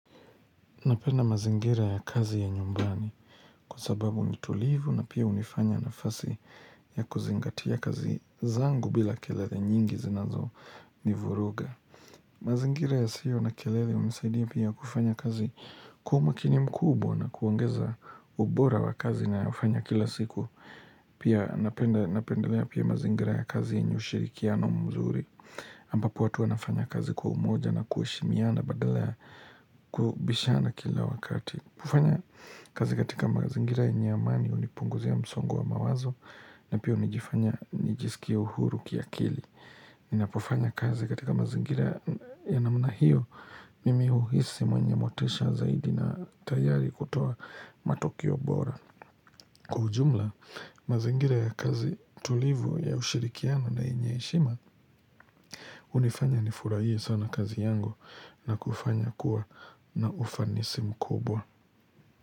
Napenda mazingira ya kazi ya nyumbani kwa sababu nitulivu na pia unifanya nafasi ya kuzingatia kazi zangu bila kelele nyingi zinazo nivuruga. Mazingira ya sio na kelele unisaidia pia kufanya kazi kwa umakini mkubwa na kuangeza ubora wa kazi na ufanya kila siku. Pia napendelea pia mazingira ya kazi yenyeushirikiano mzuri ambapo watu anafanya kazi kwa umoja na kuheshimiana badala kubishana kila wakati kufanya kazi katika mazingira yenyeamani unipunguzia msongo wa mawazo na pia unijifanya nijisikia uhuru kia kili Ninapofanya kazi katika mazingira ya namna hio Mimi hu hisi mwenye motisha zaidi na tayari kutoa matokeo bora Kwaujumla, mazingira ya kazi tulivu ya ushirikiano na yenye heshima unifanya nifurahie sana kazi yangu na kufanya kuwa na ufanisi mkubwa.